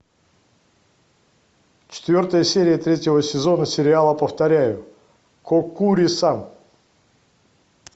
четвертая серия третьего сезона сериала повторяю коккури сан